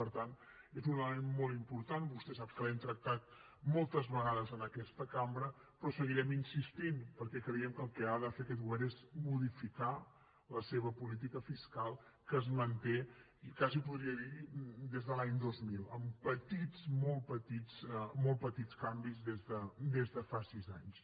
per tant és un element molt important vostè sap que l’hem tractat moltes vegades en aquesta cambra però hi seguirem insistint perquè creiem que el que ha de fer aquest govern és modificar la seva política fiscal que es manté quasi podria dir des de l’any dos mil amb petits molt petits molt petits canvis des de fa sis anys